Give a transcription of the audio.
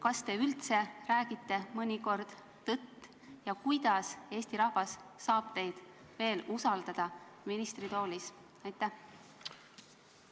Kas te üldse räägite mõnikord tõtt ja kuidas Eesti rahvas saab teid veel ministritoolis usaldada?